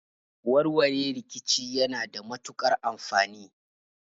Warware rikici yana matukar amfani